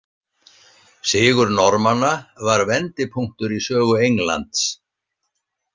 Sigur Normanna var vendipunktur í sögu Englands.